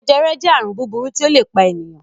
Jẹjẹrẹ jẹ́ àrùn búburú tí ó le pa ènìyàn.